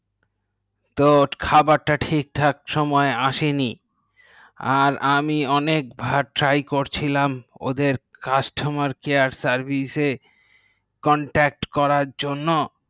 তো খাবারতো ঠিকঠাক সুময় আসেনি আমি অনেক বের টাই করছিলাম ওদের customer care service এ contact করার জন্যে